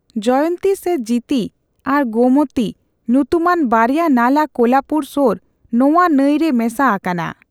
ᱡᱚᱭᱚᱱᱛᱤ ᱥᱮ ᱡᱤᱛᱤ ᱟᱨ ᱜᱳᱢᱚᱛᱤ ᱧᱩᱛᱩᱢᱟᱱ ᱵᱟᱨᱭᱟ ᱱᱟᱞᱟ ᱠᱳᱞᱟᱯᱩᱨ ᱥᱳᱨ ᱱᱚᱣᱟ ᱱᱟᱹᱭ ᱨᱮ ᱢᱮᱥᱟ ᱟᱠᱟᱱᱟ ᱾